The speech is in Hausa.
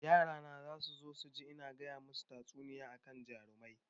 Yara na zasu so su ji in gaya masu tatsuniyoyi akan jarumai